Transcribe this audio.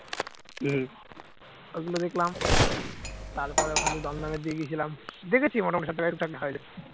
ওইগুলো দেখলাম তারপর ওখান থেকে দমদমের দিকে গিয়েছিলাম দেখেছি মোটামুটি সব